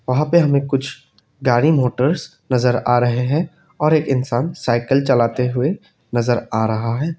वहां पर हमें कुछ गाड़ी मोटर्स नजर आ रहे हैं और एक इंसान साइकिल चलाते हुए नजर आ रहा है।